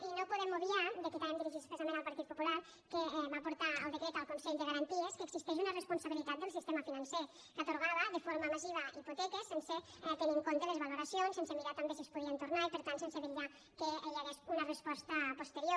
i no podem obviar i aquí també em dirigeixo expressament al partit popular que va portar el decret al consell de garanties que existeix una responsabilitat del sistema financer que atorgava de forma massiva hipoteques sense tenir en compte les valoracions sense mirar també si es podien tornar i per tant sense vetllar perquè hi hagués una resposta posterior